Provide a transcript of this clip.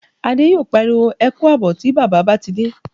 Adé yóò pariwo "Ẹ kú àbọ̀" tí bàbá bá ti dé